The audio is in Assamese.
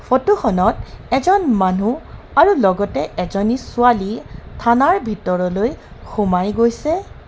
ফটো খনত এজন মানুহ আৰু লগতে এজনী ছোৱালী থানাৰ ভিতৰলৈ সোমাই গৈছে.